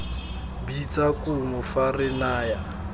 bitsa kumo fa re naya